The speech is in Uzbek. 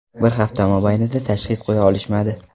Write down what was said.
Bir hafta mobaynida tashxis qo‘ya olishmadi.